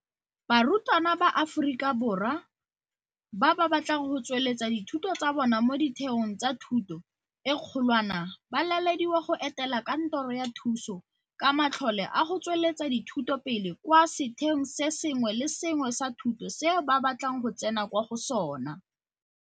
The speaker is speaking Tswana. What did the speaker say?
Barutwana ba Aforika Borwa ba ba batlang go tsweletsa dithuto tsa bona mo ditheong tsa thuto e kgolwane ba lalediwa go etela Kantoro ya Thuso ka Matlole a go Tsweletsa Dithuto Pele kwa setheong se sengwe le se sengwe sa thuto seo ba batlang go tsena kwa go sona.